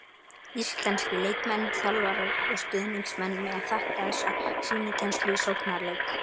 Íslenskir leikmenn, þjálfarar og stuðningsmenn mega þakka þessa sýnikennslu í sóknarleik.